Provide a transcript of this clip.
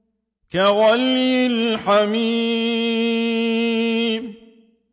كَغَلْيِ الْحَمِيمِ